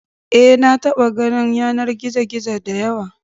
Eh, na taɓa ganin yanar gizo-gizo da yawa.